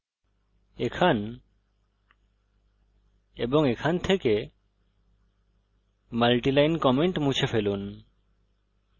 এখান এবং এখান থেকে multi line comments মুছে ফেলুন